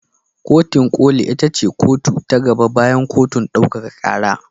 Kotin ƙoli ita ce kotu ta gaba bayan kotun ɗaukaka ƙara.